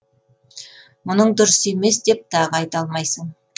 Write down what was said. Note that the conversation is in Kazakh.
мұның дұрыс емес деп тағы айта алмайсың